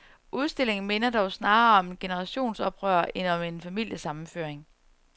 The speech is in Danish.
Udstillingen minder dog snarere om et generationsoprør end om en familiesammenføring.